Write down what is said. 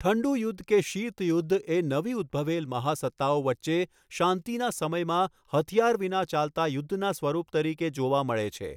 ઠંડુ યુદ્ધ કે શીત યુદ્ધ એ નવી ઉદ્દભવેલ મહાસત્તાઓ વચ્ચે શાંતિના સમયમાં હથિયાર વિના ચાલતા યુદ્ધના સ્વરુપ તરીકે જોવામાં મળે છે.